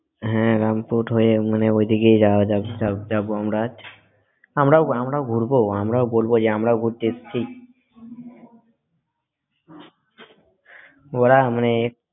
হ্যাঁ রামপুর হয়ে মানে ওইদিকে যাবে যাব আমরা আজ আমরা আমরাও ঘুরবো আমরাও বলব যে আমরাও ঘুরতে এসছি ওরা মানে